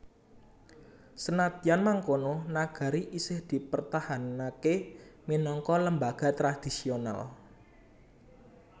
Senadyan mangkono nagari isih dipertahanaké minangka lembaga tradisional